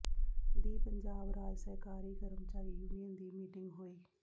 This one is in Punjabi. ਦੀ ਪੰਜਾਬ ਰਾਜ ਸਹਿਕਾਰੀ ਕਰਮਚਾਰੀ ਯੂਨੀਅਨ ਦੀ ਮੀਟਿੰਗ ਹੋਈ